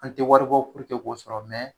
An tɛ waribɔ sɔrɔ